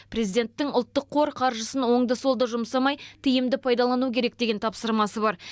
президенттің ұлттық қор қаржысын оңды солды жұмсамай тиімді пайдалану керек деген тапсырмасы бар